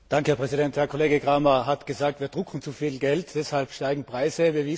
Herr Präsident, Herr Kollege Krahmer hat gesagt, wir drucken zuviel Geld, deshalb steigen Preise.